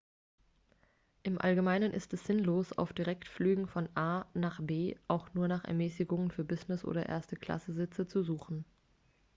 im allgemeinen ist es sinnlos auf direktflügen von a nach b auch nur nach ermäßigungen für business oder erste-klasse-sitze zu suchen